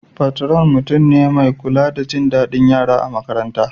Patron mutum ne mai kula da jin dadin yara a makaranta.